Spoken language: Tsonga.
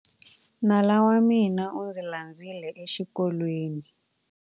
Nala wa mina u ndzi landzile exikolweni.